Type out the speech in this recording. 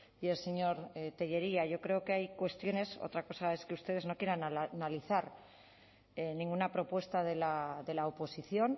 y el señor tellería yo creo que hay cuestiones otra cosa es que ustedes no quieran analizar ninguna propuesta de la oposición